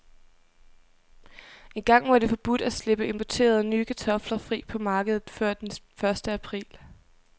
Engang var det forbudt at slippe importerede, nye kartofler fri på markedet før den første april.